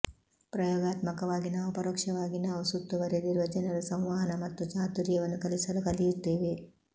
ಪ್ರಯೋಗಾತ್ಮಕವಾಗಿ ನಾವು ಪರೋಕ್ಷವಾಗಿ ನಾವು ಸುತ್ತುವರೆದಿರುವ ಜನರ ಸಂವಹನ ಮತ್ತು ಚಾತುರ್ಯವನ್ನು ಕಲಿಸಲು ಕಲಿಯುತ್ತೇವೆ